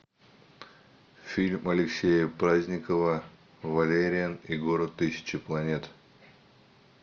фильм алексея праздникова валериан и город тысячи планет